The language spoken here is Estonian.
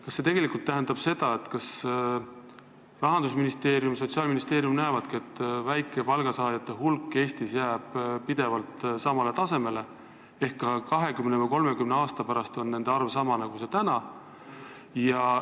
Kas see tegelikult tähendab seda, et Rahandusministeerium ja Sotsiaalministeerium usuvad, et väikese palga saajate hulk Eestis jääb pidevalt samale tasemele, et ka 20 või 30 aasta pärast on nende arv umbes sama, nagu see on täna?